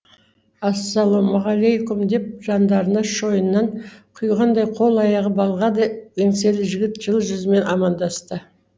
ассалаумағалейкум деп жандарына шойыннан құйғандай қол аяғы балғадай еңселі жігіт жылы жүзімен амандасты